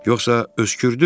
Yoxsa öskürdü?